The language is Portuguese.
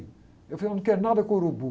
Eu falei, eu não quero nada com o urubu.